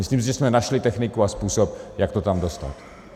Myslím si, že jsme našli techniku a způsob, jak to tam dostat.